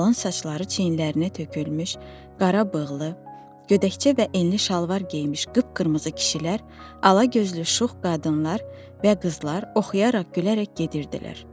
Qalan saçları çiyinlərinə tökülmüş, qara bığlı, gödəkçə və enli şalvar geyinmiş qıpqırmızı kişilər, ala gözlü şux qadınlar və qızlar oxuyaraq gülərək gedirdilər.